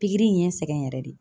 Pikiri in ye n sɛgɛn yɛrɛ de.